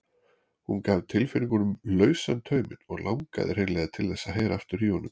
Hún gaf tilfinningunum lausan tauminn og langaði hreinlega til þess að heyra aftur í honum.